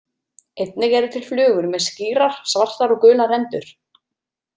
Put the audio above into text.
Einnig eru til flugur með skýrar svartar og gular rendur.